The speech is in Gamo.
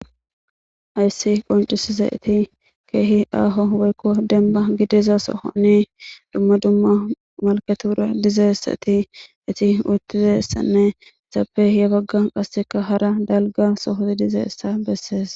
Hayiss qonccisizayitt kehi aho woyikko denibba gidiza sohonni dumma dumma maliketira dizayissati etti uttizayissanne etappe yaa baganni qasekka hara daligga sohozi dizayissa besses.